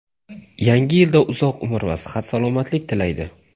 Yangi yilda uzoq umr va sihat-salomatlik tilaydi.